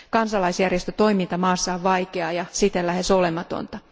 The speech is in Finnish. Kansalaisjärjestötoiminta maassa on vaikeaa ja siten lähes olematonta.